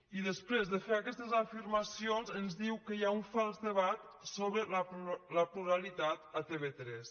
i després de fer aquestes afirmacions ens diu que hi ha un fals debat sobre la pluralitat a tv3